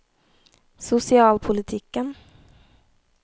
sosialpolitikken